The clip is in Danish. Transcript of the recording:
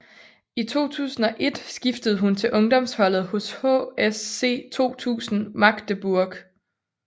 I 2001 skiftede hun til ungdomsholdet hos HSC 2000 Magdeburg